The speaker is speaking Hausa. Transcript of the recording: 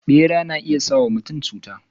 Bera na iya sa wa mutum cuta.